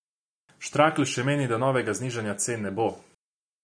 Štrakl še meni, da novega znižanja cen ne bo.